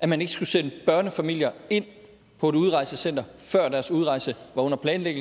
at man ikke skulle sætte børnefamilier ind på et udrejsecenter før deres udrejse var under planlægning